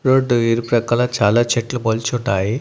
Road ఇరుప్రక్కల చాలా చెట్లు మొలుచున్నాయి.